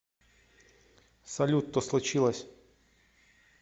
салют то случилось